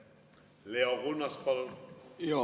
Leo Kunnas, palun!